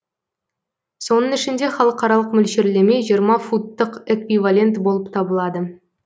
соның ішінде халықаралық мөлшерлеме жиырма футтық эквивалент болып табылады